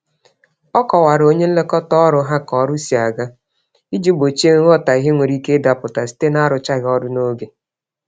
Ọ kọwara onye nlekọta-ọrụ ha k'ọrụ si ága, iji gbochie nghọtahie nwere ike ịdapụta site narụchaghị ọrụ n'oge